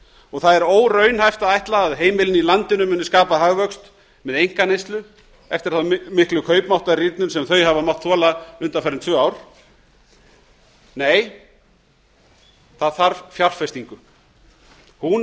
og það er óraunhæft að ætla að heimilin í landinu muni skapa hagvöxt með einkaneyslu eftir þá miklu kaupmáttarrýrnum sem þau hafa mátt þola undanfarin tvö ár nei það þarf fjárfestingu hún